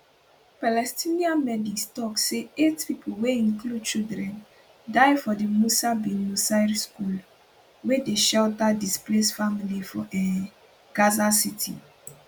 palestinian medics tok say eight pipo wey include children die for di musa bin nusayr school wey dey shelter displaced families for um gaza city